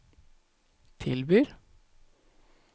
tilbyr